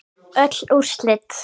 Öll úrslit